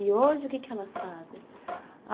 E hoje, o que que elas fazem?